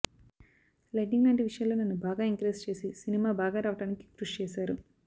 lighting లాంటి విషయాల్లో నన్ను బాగా ఎంకరేజ్ చేసి సినిమా బాగా రావడానికి కృషి చేశారు